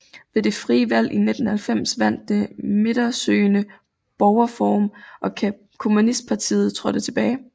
Ved det frie valg i 1990 vandt det midtersøgende Borgerforum og kommunistpartiet trådte tilbage